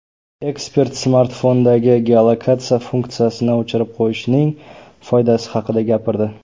Ekspert smartfondagi geolokatsiya funksiyasini o‘chirib qo‘yishning foydasi haqida gapirdi.